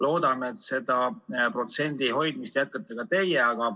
Loodame, et seda protsendi hoidmist jätkate ka teie.